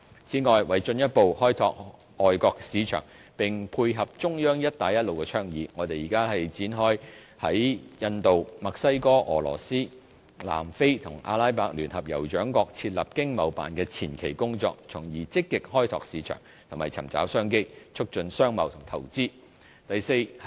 此外，為進一步開拓外國市場，並配合中央的"一帶一路"倡議，我們現正展開在印度、墨西哥、俄羅斯、南非和阿拉伯聯合酋長國設立經貿辦的前期工作，從而積極開拓市場和尋找商機，促進商貿及投資。